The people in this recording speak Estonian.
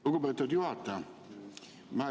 Lugupeetud juhataja!